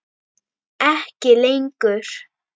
Ekki lengur.